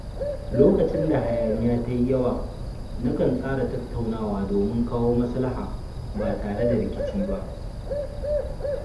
Lokacin da hayaniya ta yi yawa, nakan tsara tattaunawa domin kawo maslaha ba tare da rikici ba.